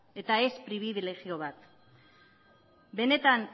eta ez pribilegio bat benetan